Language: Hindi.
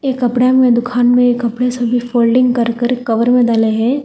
ए कपड़ा में दुकान में कपड़े सभी फोल्डिंग कर कर कवर में डाले हैं।